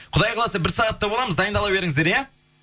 құдай қаласа бір сағатта боламыз дайындала беріңіздер иә